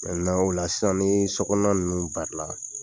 Mɛntenan ola sisan ni so kɔnɔna ninnu bari la